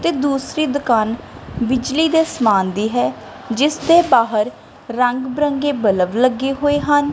ਤੇ ਦੂਸਰੀ ਦੁਕਾਨ ਬਿਜਲੀ ਦੇ ਸਮਾਨ ਦੀ ਹੈ ਜਿਸ ਦੇ ਬਾਹਰ ਰੰਗ ਬਿਰੰਗੇ ਬਲਬ ਲੱਗੇ ਹੋਏ ਹਨ।